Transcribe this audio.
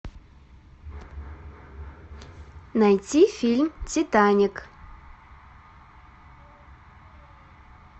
найти фильм титаник